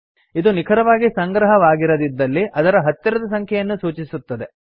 ಇದು ನಿಖರವಾಗಿ ಸಂಗ್ರಹವಾಗಿರದಿದ್ದಲ್ಲಿ ಅದರ ಹತ್ತಿರದ ಸಂಖ್ಯೆಯನ್ನು ಸೂಚಿಸುತ್ತದೆ